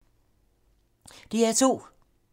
DR2